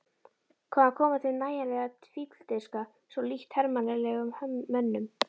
Hvaðan kom þeim nægjanleg fífldirfska, svo lítt hermannlegum mönnum?